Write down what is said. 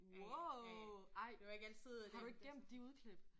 Wow ej har du ikke glemt de udklip?